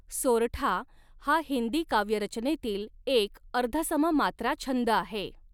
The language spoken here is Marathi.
सोरठा हा हिंदी काव्यरचनेतील एक अर्धसम मात्राछंद आहे.